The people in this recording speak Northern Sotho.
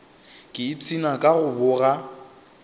ke ipshina ka go boga